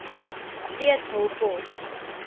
steeds hul pos